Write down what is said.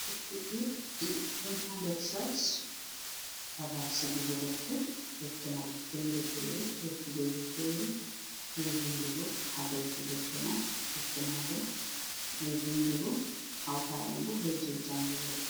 Defte ji ɗi don ha nder shels babal sigugo defte, defte man fere fere be kujeji fere je vindugo ha douti defte man, defte man bo je vindugo hauta ɗum ɓo be je jangugo.